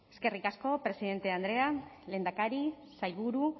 eskerrik asko presidente andrea lehendakari sailburu